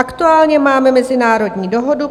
Aktuálně máme mezinárodní dohodu.